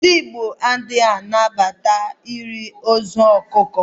Ndị gbo ha a na-anabata iri ozu ọkụkọ?